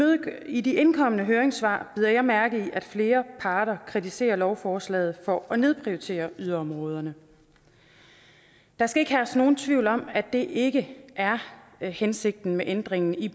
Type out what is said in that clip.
i de indkomne høringssvar bider jeg mærke i at flere parter kritiserer lovforslaget for at nedprioritere yderområderne der skal ikke herske nogen tvivl om at det ikke er hensigten med ændringen i